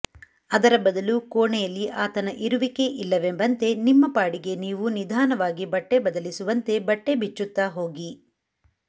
ಅದರ ಬದಲು ಕೋಣೆಯಲ್ಲಿ ಆತನ ಇರುವಿಕೆ ಇಲ್ಲವೆಂಬಂತೆ ನಿಮ್ಮ ಪಾಡಿಗೆ ನೀವು ನಿಧಾನವಾಗಿ ಬಟ್ಟೆ ಬದಲಿಸುವಂತೆ ಬಟ್ಟೆ ಬಿಚ್ಚುತ್ತಾ ಹೋಗಿ